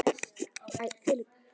Skarpi þurfi að.